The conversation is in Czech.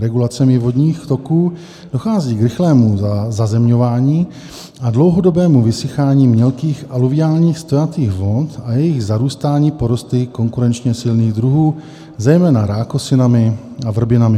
Regulacemi vodních toků dochází k rychlému zazemňování a dlouhodobému vysychání mělkých aluviálních stojatých vod a jejich zarůstání porosty konkurenčně silných druhů, zejména rákosinami a vrbinami.